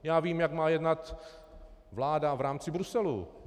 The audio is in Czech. Já vím, jak má jednat vláda v rámci Bruselu.